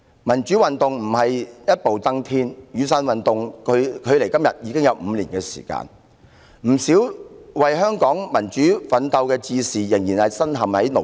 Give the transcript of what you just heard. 民主運動不會一步登天，雨傘運動距今已5年，不少為香港民主奮鬥的志士仍然身陷牢獄。